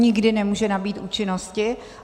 Nikdy nemůže nabýt účinnosti.